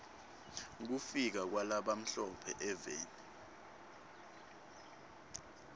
kufika kwala bamhlo phe eveni